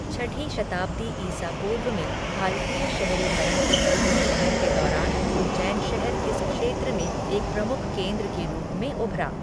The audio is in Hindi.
छठी शताब्दी ईसा पूर्व में भारतीय शहरीकरण की दूसरी लहर के दौरान उज्जैन शहर इस क्षेत्र में एक प्रमुख केंद्र के रूप में उभरा।